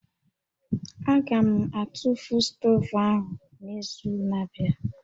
Aga m atụfu stovu ahụ n'izu na-abịa